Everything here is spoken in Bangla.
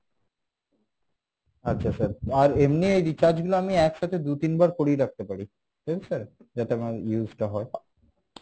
আচ্ছা sir আর এমনি এ recharge গুলো আমি একসাথে দু তিনবার করিয়ে রাখতে পারি তাই তো sir যাতে আমার use টা হয়